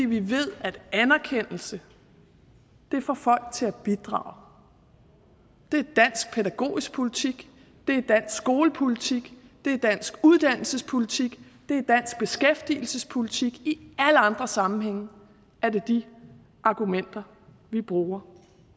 vi ved at anerkendelse får folk til at bidrage det er dansk pædagogisk politik det er dansk skolepolitik det er dansk uddannelsespolitik det er dansk beskæftigelsespolitik i alle andre sammenhænge er det de argumenter vi bruger